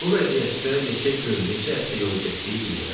Bu vəziyyətdə neçə gün, neçə həftə yolu getdiyi bilmirəm.